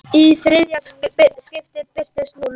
Í þriðja skiptið birtist núll.